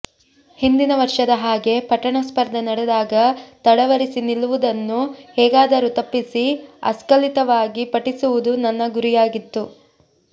ಹಿಂದಿನ ವರ್ಷದ ಹಾಗೆ ಪಠಣ ಸ್ಪರ್ಧೆ ನಡೆದಾಗ ತಡವರಿಸಿ ನಿಲ್ಲುವದನ್ನು ಹೇಗಾದರೂ ತಪ್ಪಿಸಿ ಅಸ್ಖಲಿತವಾಗಿ ಪಠಿಸುವುದು ನನ್ನ ಗುರಿಯಾಗಿತ್ತು